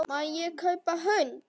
Má ég kaupa hund?